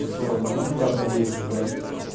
условно ну хотя бы на десять блядь